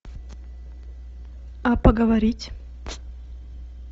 а поговорить